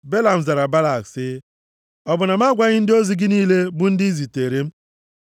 Belam zara Balak sị, “Ọ bụ na m agwaghị ndị ozi gị niile, bụ ndị ị zitere m,